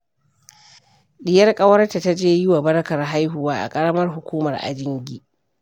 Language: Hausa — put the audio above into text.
Ɗiyar ƙawarta ta je yi wa barkar haihuwa a ƙaramar hukumar Ajingi